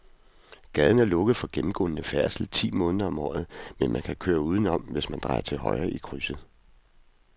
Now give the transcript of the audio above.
Gaden er lukket for gennemgående færdsel ti måneder om året, men man kan køre udenom, hvis man drejer til højre i krydset.